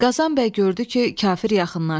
Qazan bəy gördü ki, kafir yaxınlaşdı.